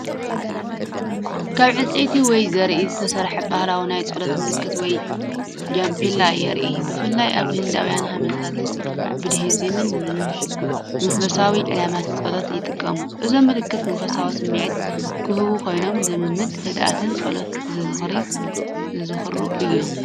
ካብ ዕንጨይቲ ወይ ዘርኢ ዝተሰርሐ ባህላዊ ናይ ጸሎት ምልክት ወይ ጃፓማላ የርእዩ። ብፍላይ ኣብ ህንዳውያን ሃይማኖታትን ቡድሂዝምን ንመንፈሳዊ ዕላማን ጸሎትን ይጥቀሙ። እዞም ምልክት መንፈሳዊ ስምዒት ዝህቡ ኮይኖም ንልምምድ ህድኣትን ጸሎትን ዘዘኻኽሩ እዮም።